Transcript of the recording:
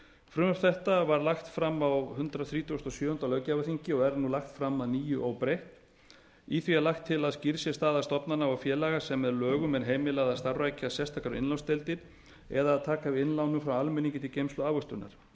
frumvarp þetta var lagt fram á hundrað þrítugasta og sjöunda löggjafarþingi og er nú lagt fram að nýju óbreytt í því er lagt til að skýrð sé staða stofnana og félaga sem með lögum er heimilað að starfrækja sérstakar innlánsdeildir eða að taka við innlánum frá almenningi til geymslu og ávöxtunar